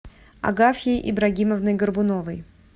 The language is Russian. агафьей ибрагимовной горбуновой